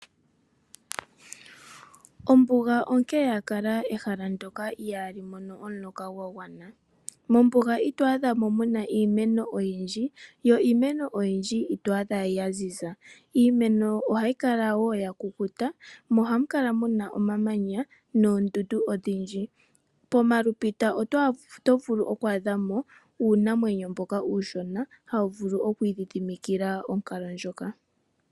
Ombuga onke ya kala ehala ndyoka ihali mono omuloka gwa gwana. Mombuga ito adha mo mu na iimeno oyindji yo iimeno oyindji ito adha ya ziza. Iimeno ohayi kala iimeno ya kukuta mo ohamu kala mu na omamanya noondundu odhindji. Pomalupita oto vulu oku adha mo uunamwenyo mboka uushona hawu vulu oku idhidhimikila onkalo ndjoka.